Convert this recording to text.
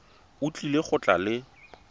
o tlile go tla le